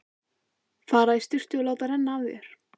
Fara í sturtu og láta renna af þér.